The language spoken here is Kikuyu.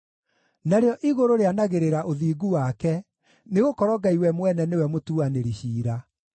Narĩo igũrũ rĩanagĩrĩra ũthingu wake, nĩgũkorwo Ngai we mwene nĩwe mũtuanĩri ciira.